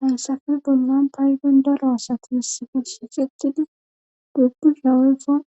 hayssafe bollan paygun daro asati hussifi sixeqqidi dhubbu shawefon